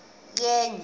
oko ucoceko yenye